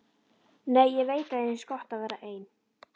Nei, ég veit að þér finnst gott að vera ein.